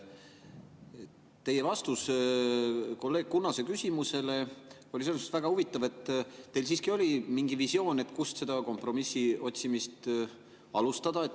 Teie vastus kolleeg Kunnase küsimusele oli selles mõttes väga huvitav, et teil siiski oli mingi visioon, kust seda kompromissi otsimist alustada.